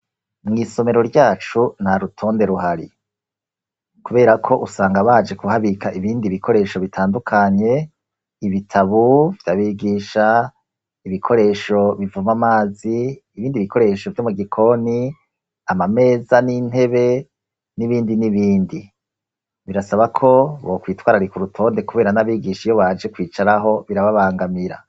Mw'isomero ryacu nta rutonde ruhari, kubera ko usanga baje kuhabika ibindi bikoresho bitandukanye: ibitabu by'abigisha, ibikoresho bivoma amazi, ibindi bikoresho vyo mu gikoni, amameza n'intebe, n'ibindi n'ibindi. Birasaba ko bokwitwararika urutonde kubera n'abigisha iyo baje kwicaraho birababangamira.